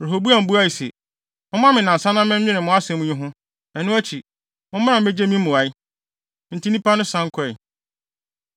Rehoboam buae se, “Momma me nnansa na menwene mo asɛm yi ho. Ɛno akyi, mommra mmegye me mmuae.” Enti nnipa no san kɔe.